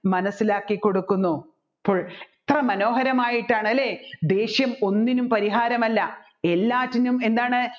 മനസ്സിലാക്കി കൊടുക്കുന്നു അപ്പോൾ എത്ര മനോഹരമായിട്ടാണ് അല്ലെ ദേഷ്യം ഒന്നിനും പരിഹാരമല്ല എല്ലാറ്റിനും എന്താന്ന്